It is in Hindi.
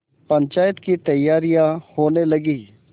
पंचायत की तैयारियाँ होने लगीं